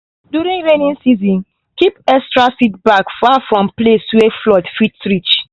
during rainy season keep extra seed bags far from places wey flood fit reach.